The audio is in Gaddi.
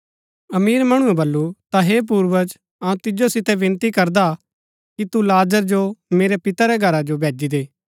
अमीर मणुऐ बल्लू ता हे पूर्वज अऊँ तिजो सितै विनती करदा कि तू लाजर जो मेरै पिते रै घरा जो भेजी दे